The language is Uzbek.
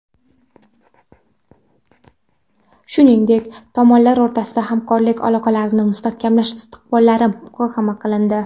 Shuningdek tomonlar o‘rtasida hamkorlik aloqalarini mustahkamlash istiqbollari muhokama qilindi.